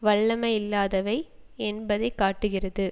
வல்லமையில்லாதவை என்பதைக்காட்டுகிறது